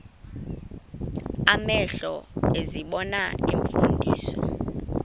amehlo ezibona iimfundiso